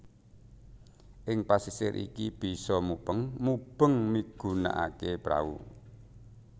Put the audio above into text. Ing pasisir iki bisa mubeng mubeng migunakaké prau